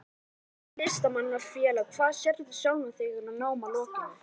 Vill stofna Listamanna-félag Hvar sérðu sjálfan þig að námi loknu?